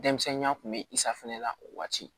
Denmisɛnninya kun bɛ i safinɛ la o waati